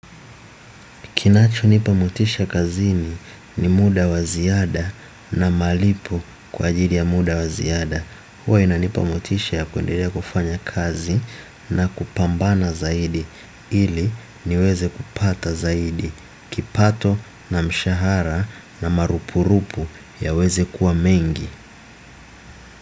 Kinachonipa motisha kazini ni muda wa ziada na malipo kwa ajili ya muda wa ziada. Uwe inanipa motisha ya kundelea kufanya kazi na kupambana zaidi ili niweze kupata zaidi. Kipato na mshahara na marupurupu yaweze kuwa mengi.